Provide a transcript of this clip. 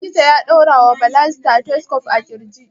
Likita ya ɗaura wa Bala stethoscope a ƙirji.